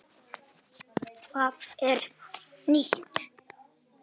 Hvað er nýtt?